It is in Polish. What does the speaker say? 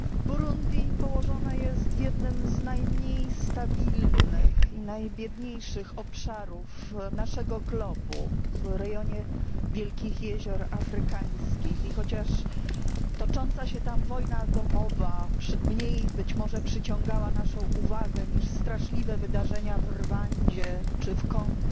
Burundi położone jest w jednym w najmniej stabilnych i najbiedniejszych obszarów naszego globu w rejonie Wielkich Jezior Afrykańskich. I chociaż tocząca się tam wojna domowa mniej być może przyciągała naszą uwagę niż straszliwe wydarzenia w Rwandzie czy w Kongo,